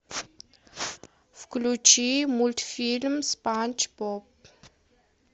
включи мультфильм спанч боб